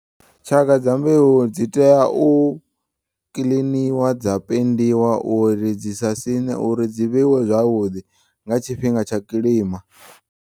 Tshaka dza mbeu dzi teya u kiḽiniwa dza pendiwa uri dzi sa siṋe uri dzi vheiwe zwavhuḓi nga tshifhinga tsha kilima.